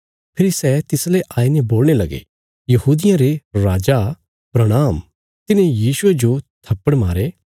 फेरी सै तिसले आईने बोलणे लगे यहूदियां रे राजा प्रणाम तिन्हें यीशुये जो थप्पड़ मारे